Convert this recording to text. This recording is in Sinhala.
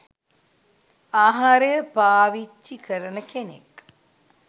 ආහාරය පාවිච්චි කරන කෙනෙක්.